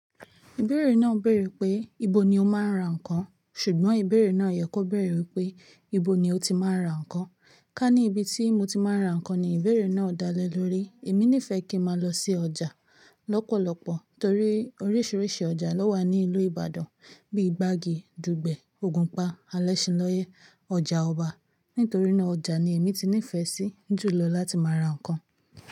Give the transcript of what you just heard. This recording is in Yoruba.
Ìbéèrè náà béèrè wipé, "ibo ni ó máa ń ra ǹnkan?" ṣùgbọ́n ìbéèrè náà yẹ kó béèrè wípé, "ibo ni ó ti máa ń ra ǹnkan?" ká ní ibi tí mo ti máa ń ra ǹnkan ni ìbéèrè náà dá lé lórí. Èmi nífẹ̀ẹ́ kí n máa lọ sí ọjà lọ́pọ̀lọpọ̀ nítorí oríṣiríṣi ọjà ló wà ní ìlú Ìbàdàn bíi Gbági, Dugbe, Ogunpa, Aleṣinlọ́yẹ́, ọjà ọba. Nítorí náà ọjà ni èmi ti nífẹ̀ẹ́ sí jù lọ láti máa ra ǹnkan.